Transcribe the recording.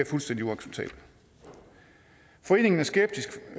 fuldstændig uacceptabelt foreningen er skeptiske